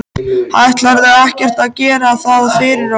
Ætlarðu ekkert að gera það fyrir okkur?